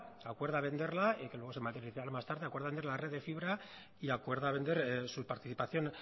acuerda venderla que luego se materializa más tarde acuerdan vender la red de fibra y acuerda vender su participación